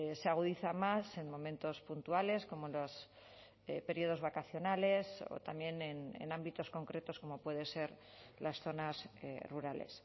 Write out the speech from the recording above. se agudiza más en momentos puntuales como los períodos vacacionales o también en ámbitos concretos como pueden ser las zonas rurales